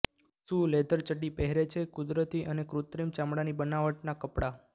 શું લેધર ચડ્ડી પહેરે છે કુદરતી અને કૃત્રિમ ચામડાની બનાવટનાં કપડાં